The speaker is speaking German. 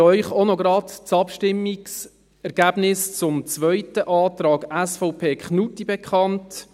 Ich gebe Ihnen auch noch gerade das Abstimmungsergebnis zum zweiten Antrag SVP Knutti bekannt: